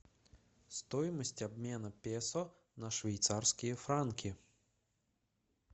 стоимость обмена песо на швейцарские франки